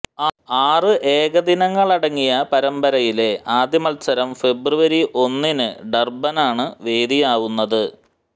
ആറ് ഏകദിനങ്ങളടങ്ങിയ പരമ്പരയിലെ ആദ്യ മത്സരം ഫെബ്രുവരി ഒന്നിന് ഡര്ബനാണ് വേദിയാവുന്നത്